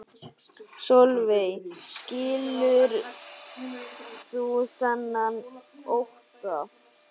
Sólveig: Skilur þú þennan ótta?